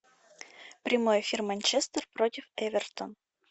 прямой эфир манчестер против эвертон